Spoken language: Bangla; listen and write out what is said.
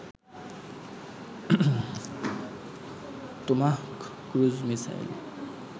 Tomahawk cruise missile